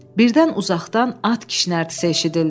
Birdən uzaqdan at kişnərtisi eşidildi.